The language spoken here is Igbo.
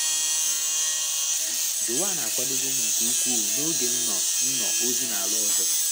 Joan akwadowo m nke ukwuu n’oge m nọ m nọ ozi n'ala ọzọ.